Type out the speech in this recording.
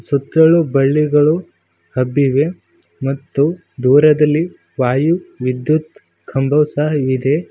ಸುತ್ತಲೂ ಬಳ್ಳಿಗಳು ಹಬ್ಬಿವೆ ಮತ್ತು ದೂರದಲ್ಲಿ ವಾಯು ವಿದ್ಯುತ್ ಕಂಬವು ಸಹ ಇದೆ.